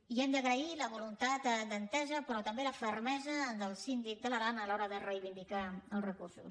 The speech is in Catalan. i hem d’agrair la voluntat d’entesa però també la fermesa del síndic de l’aran a l’hora de reivindicar els recursos